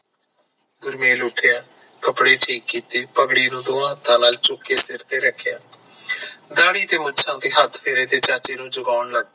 ਗੁਰਮੇਲ ਉਠਿਆ ਕੱਪੜੇ ਠੀਕ ਕੀਤੇ, ਪਗੜੀ ਨੂੰ ਦੋਵਾਂ ਹੱਥਾਂ ਨਾਲ ਚੁੱਕ ਕ ਸਰ ਤੇ ਰੱਖਿਆ ਡਾਢੀ ਤੇ ਮੁੱਛਾਂ ਤੇ ਹੱਥ ਫੇਰ ਕੇ ਤੇ ਚਾਚੇ ਨੂੰ ਜਗਾਣ ਲੱਗ ਪੀਯਾ